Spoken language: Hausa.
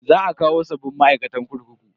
Za a kawo sabbin ma'aikatan kurkuku.